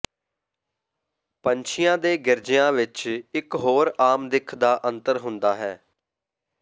ਪੰਛੀਆਂ ਦੇ ਗਿਰਜਿਆਂ ਵਿਚ ਇਕ ਹੋਰ ਆਮ ਦਿੱਖ ਦਾ ਅੰਤਰ ਹੁੰਦਾ ਹੈ